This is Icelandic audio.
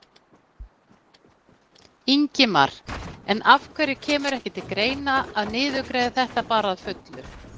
Ingimar: En af hverju kemur ekki til greina að niðurgreiða þetta bara að fullu?